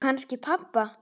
Og kannski pabba.